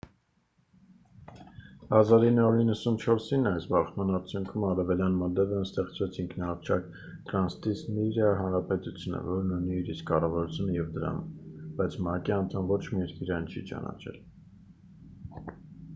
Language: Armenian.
1994-ին այս բախման արդյունքում արևելյան մոլդովայում ստեղծվեց ինքնահռչակ տրանսնիստրիա հանրապետությունը որն ունի իր իսկ կառավարությունը և դրամը բայց մակ-ի անդամ ոչ մի երկրի այն չի ճանաչել